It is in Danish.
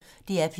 DR P1